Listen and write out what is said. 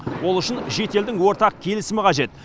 ол үшін жеті елдің ортақ келісімі қажет